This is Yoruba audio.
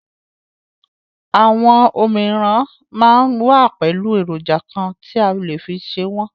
Àwọn òmíràn máa ń wà pẹ̀lú èròjà kan tí a lè fi ṣe wọn.